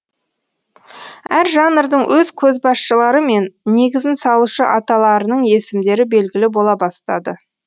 әр жанрдың өз көшбасшылары мен негізін салушы аталарының есімдері белгілі бола бастады